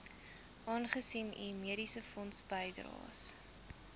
aangesien u mediesefondsbydraes